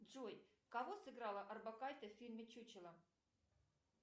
джой кого сыграла орбакайте в фильме чучело